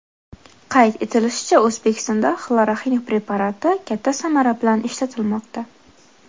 Qayd etilishicha, O‘zbekistonda xloroxin preparati katta samara bilan ishlatilmoqda.